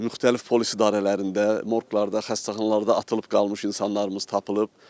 Müxtəlif polis idarələrində, morqlarda, xəstəxanalarda atılıb qalmış insanlarımız tapılıb.